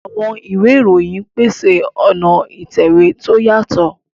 Àwọn ìwé ìròyìn ń pèsè ọ̀nà ìtẹ̀wé tó yàtọ̀.